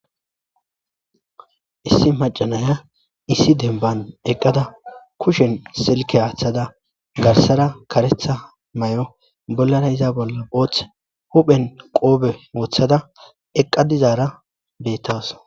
issi macanaya issi demban eqqada kushen silke haaththada garsara karetha may7o bollara iza bolla ooth huphen qoobe wooththada eqqa dizaara bettas